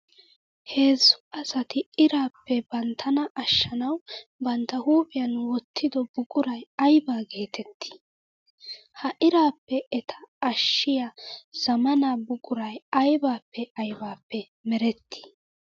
Heezzu asatti irappe banttanna ashshannawu bantta huuphiyan wottiddo buquray aybba geetetti? Ha irappe etta ashshiya zamaana buquray aybbappe aybbappe meretti?